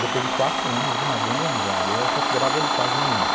Depois de quatro anos de uma grande amizade, eu considerava ele quase um irmão.